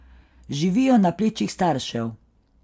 Živijo na plečih staršev.